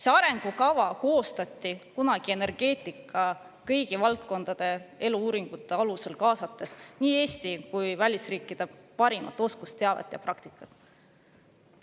See arengukava koostati kunagi energeetika kõigi valdkondade uuringute alusel, kaasates nii Eesti kui välisriikide parimat oskusteavet ja praktikat.